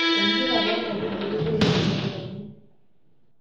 Entipat oonkaitubulu weishiooi oondaikin.